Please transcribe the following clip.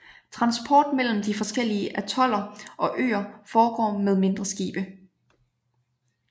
Transport mellem de forskellige atoller og øer foregår med mindre skibe